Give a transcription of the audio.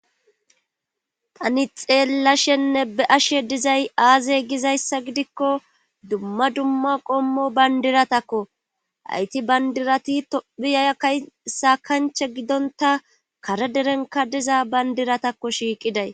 tani xeellashenne be7ashe dizay aaze gizayssa gidikko dumma dumma qommo banddiratakko hayti banddirati tophpiya kay saakancha gidontta kare derenkka diza banddiratakko shiiqiday.